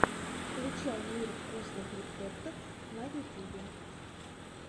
включай мир вкусных рецептов на ютюбе